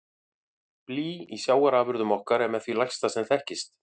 Blý í sjávarafurðum okkar er með því lægsta sem þekkist.